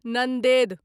Nanded